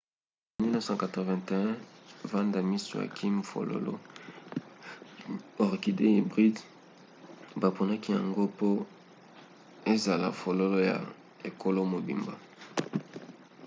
na 1981 vanda miss joaquim fololo orchidée hybride baponaki yango po ezala fololo ya ekolo mobimba